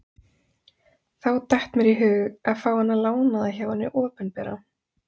Þá datt mér í hug að fá hana lánaða hjá hinu opinbera.